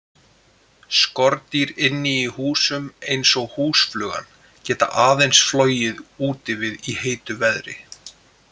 Skordýr inni í húsum, eins og húsflugan, geta aðeins flogið úti við í heitu veðri.